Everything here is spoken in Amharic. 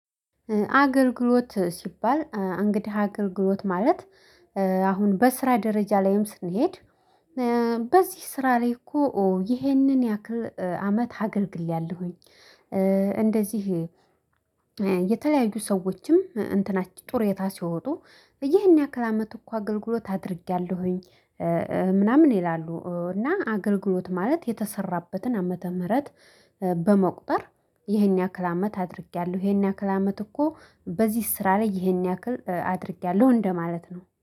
አገልግሎት ሲባል እንግዲህ አገልግሎት ማለት አሁን በስራ ደረጃ ላይም ስንሄድ በዚህ ስራ ላይ እኮ ይሄንን ያክል አመት አገልግያለሁኝ። እንደዚህ። የተለያዩ ሰዎችም እንትናችን ጡሪይታ ሲወጡ ይህን ያክል አመት እኮ አገልግሎት አድርጌያለሁኝ። ምናምን ይላሉ እና አገልግሎት ማለት የተሰራበትን ዓመተ ምህረት። በመቁጠር ይሄን ያክል አመት አድርጌያለሁ። ይሄን ያክል አመት እኮ በዚህ ስራ ላይ ይሄን ያክል አድርጌያለሁ እንደማለት ነው